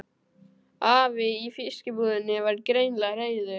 Afi í fiskbúðinni var greinilega reiður.